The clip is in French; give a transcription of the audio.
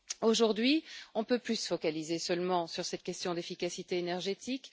Aujourd'hui, on ne peut plus se focaliser seulement sur cette question d'efficacité énergétique.